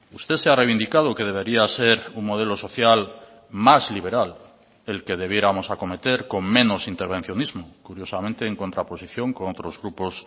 usted se ha reivindicado que debería ser un modelo social más liberal el que debiéramos acometer con menos intervencionismo curiosamente en contraposición con otros grupos